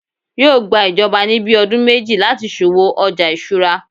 yíò gbà ìjọba ni bí ọdún méjì lati so'wo ọja isura